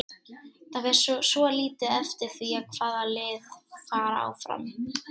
Það fer svolítið eftir því hvaða lið fara áfram.